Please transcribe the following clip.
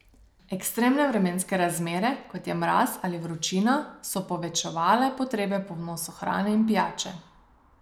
Ekstremne vremenske razmere kot je mraz ali vročina so povečevale potrebe po vnosu hrane in pijače.